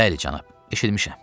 "Bəli cənab, eşitmişəm,"